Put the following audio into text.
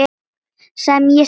Sem ég skil alveg.